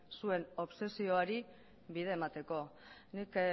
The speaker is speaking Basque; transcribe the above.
zuen obsesioari bide emateko nik